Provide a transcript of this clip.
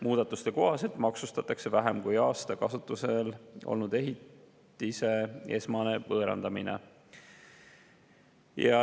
Muudatuse kohaselt maksustatakse vähem kui aasta kasutusel olnud ehitise esmane võõrandamine.